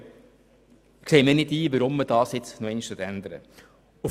Deshalb sehe ich nicht ein, weshalb man dies hier nochmals ändern will.